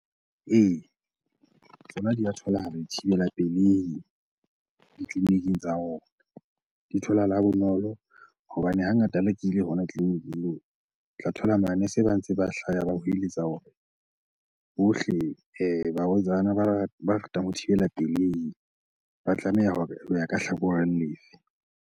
Ee, tsona di a tholahala dithibela pelehi ditleliniking tsa rona. Di tholahala bonolo hobane hangata la ke ile hona tleliniking moo, o tla thola manese ba ntse ba hlaya ba hweletsa hore bohle barwetsana ba ratang ho thibela pelehi ba tlameha hore o ya ka hlakoreng lefe?